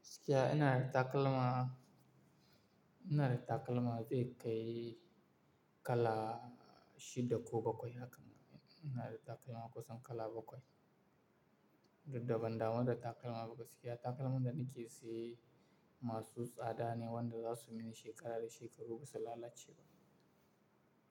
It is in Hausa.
Gaskiya ina da takalma, ina da takalma zai kai kala shida ko bakwai haka, ina da takalma kusan kala bakwai. Duk da ban damun da takalma ba gaskiya takalman da na ke saye masu tsada ne wanda za su min shekara da shekaru ba su lalace ba